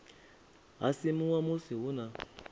ha simuwa musi hu na